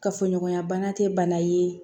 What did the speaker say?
Kafoɲɔgɔnya bana tɛ bana ye